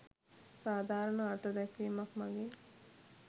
සාධාරණ අර්ථ දැක්වීමක් මගින්